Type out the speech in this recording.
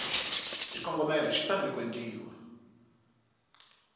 xikombelo xi fanele ku endliwa